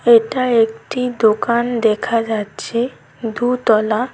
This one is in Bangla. এটা একটি দোকান দেখা যাচ্ছে দুতলা।